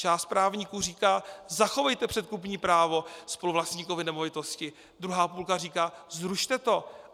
Část právníků říká "zachovejte předkupní právo spoluvlastníkovi nemovitosti", druhá půlka říká "zrušte to".